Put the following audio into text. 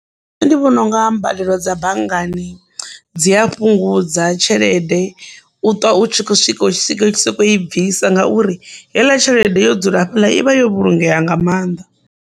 Nṋe ndi vhona unga mbadelo dza banngani dzi a fhungudza tshelede u ṱwa u tshi kho swika u tshi soko i bvisa ngauri heiḽa tshelede yo dzula fhela ivha yo vhulungea nga mannḓa.